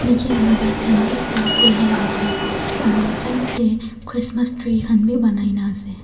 niche te bike khan bi park kurina ase aru side te christmas tree khan bi banaina ase.